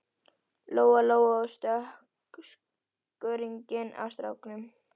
Lóa Lóa og tók skörunginn af stráknum.